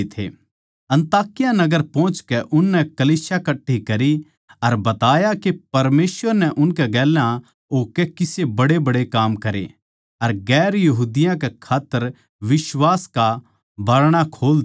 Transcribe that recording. अन्ताकिया नगर पोहचकै उननै कलीसिया कट्ठी करी अर बताया के परमेसवर नै उनकै गेल्या होकै किसे बड्डेबड्डे काम करे अर दुसरी जात्तां कै खात्तर बिश्वास का बारणा खोल दिया